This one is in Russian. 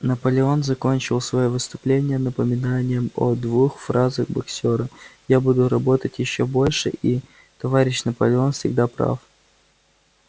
наполеон закончил своё выступление напоминанием о двух фразах боксёра я буду работать ещё больше и товарищ наполеон всегда прав